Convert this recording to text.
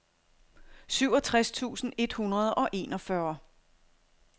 syvogtres tusind et hundrede og enogfyrre